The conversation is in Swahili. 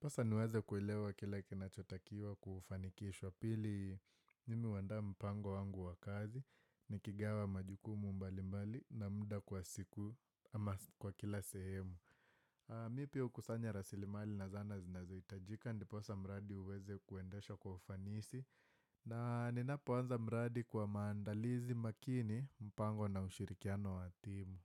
Pasa niweze kuelewa kile kinachotakiwa kufanikishwa. Pili, mimi huandaa mpango wangu wa kazi, nikigawa majukumu mbali mbali na muda kwa siku kwa kila sehemu. Mimi pia hukusanya rasilimali na zana zinazohitajika, ndiposa mradi uweze kuendeshwa kwa ufanisi. Na ninapoanza mradi kwa maandalizi makini, mpango na ushirikiano wa timu.